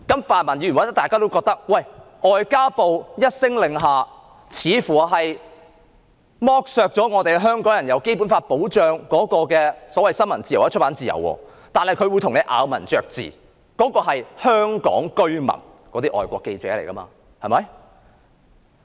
泛民議員或許認為，外交部一聲令下，剝奪了香港人獲《基本法》保障的新聞自由或出版自由，但外交部會咬文嚼字，指《基本法》保障的是香港居民，而受影響的是外國記者。